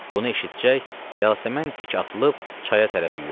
Bunu eşitcək Yasəmən dik atılıb çaya tərəf yüyürdü.